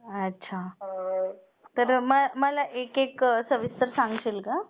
अच्छा तर मला एक-एक सविस्तर सांगशील का?